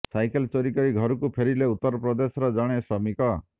cycle ଚୋରି କରି ଘରକୁ ଫେରିଲେ ଉତ୍ତରପ୍ରଦେଶର ଜଣେ ଶ୍ରମିକ